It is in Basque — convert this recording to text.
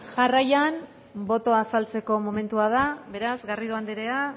jarraian boto azaltzeko momentua da beraz garrido anderea